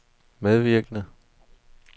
medvirkende